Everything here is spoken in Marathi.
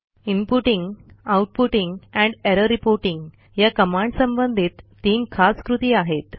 inputting outputting and error reporting या कमांडसंबंधित तीन खास कृती आहेत